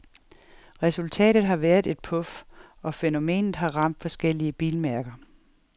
Resultatet har været et puf, og fænomet har ramt forskellige bilmærker.